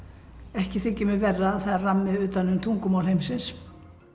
ekki þykir mér verra að það er rammi utan um tungumál heimsins